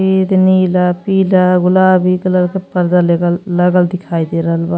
एद नीला पीला गुलाबी कलर के पर्दा लेगल लागल दिखाई दे रहल बा।